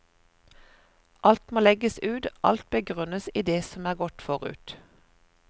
Alt må legges ut, alt begrunnes i det som er gått forut.